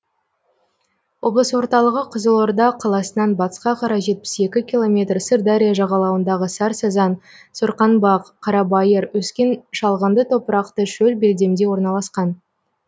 облыс орталығы қызылорда қаласынан батысқа қарай жетпіс екі километр сырдария жағалауындағы сарсазан сорқаңбақ қарабайыр өскен шалғынды топырақты шөл белдемде орналасқан